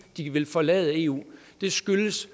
de vil forlade eu det skyldes